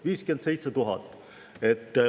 57 000!